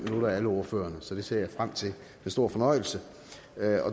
for alle ordførerne så det ser jeg frem til med stor fornøjelse